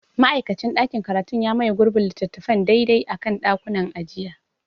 Ma'aikacin ɗakin karatu ya maye gurbin littattafan daidai a kan ɗakunan ajiya.